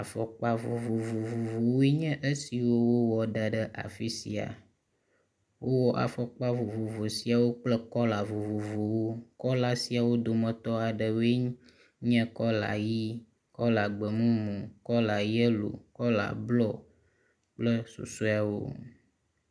Afɔkpa vovovovovowoe nye esi wowɔ da ɖe afi sia. Wowɔ afɔkpa vovovo siawo kple kɔla vovovowo. Kɔla siawo ƒe dometɔ aɖewoe nye; kɔla ʋi, kɔla gbemumu, kɔla yelo, kɔla blu kple susɔewo.